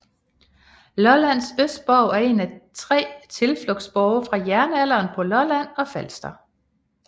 Lollands Østerborg er en af 3 tilflugtsborge fra jernalderen på Lolland og Falster